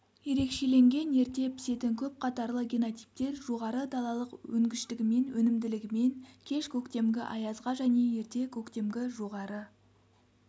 ерекшеленген ерте пісетін көп қатарлы генотиптер жоғары далалық өнгіштігімен өнімділігімен кеш көктемгі аязға және ерте көктемгі жоғары